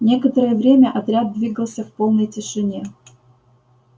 некоторое время отряд двигался в полной тишине